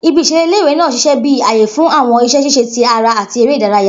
Ibi-iṣere ile-iwe naa ṣiṣẹ bi aaye fun awọn iṣẹ ṣiṣe ti ara ati ere idaraya.